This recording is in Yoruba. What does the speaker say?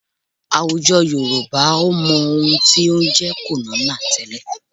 Àwùjọ Yorùbá ò mọ ohun tí ó ń jẹ́ kònónà tẹ́lẹ̀